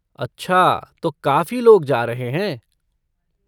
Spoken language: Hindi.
अच्छा तो काफी लोग जा रहे हैं!